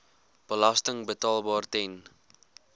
belasting betaalbaar ten